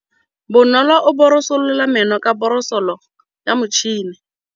Bonolô o borosola meno ka borosolo ya motšhine.